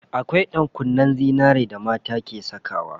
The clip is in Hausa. Akwai ɗankunnen zinari da mata ke sakawa.